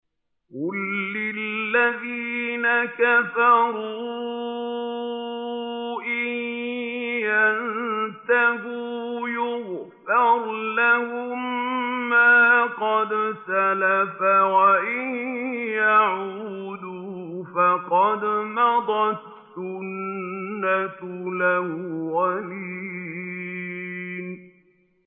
قُل لِّلَّذِينَ كَفَرُوا إِن يَنتَهُوا يُغْفَرْ لَهُم مَّا قَدْ سَلَفَ وَإِن يَعُودُوا فَقَدْ مَضَتْ سُنَّتُ الْأَوَّلِينَ